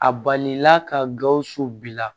A balila ka gawusu bila